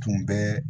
Tun bɛ